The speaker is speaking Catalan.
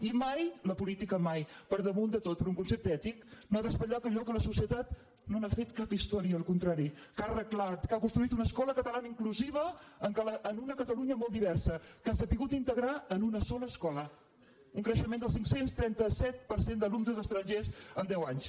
i mai la política mai per damunt de tot per un concepte ètic no ha d’espatllar allò de què la societat no ha fet cap història al contrari que ha arreglat que ha construït una escola catalana inclusiva en una catalunya molt diversa que ha sabut integrar en una sola escola un creixement del cinc cents i trenta set per cent d’alumnes estrangers en deu anys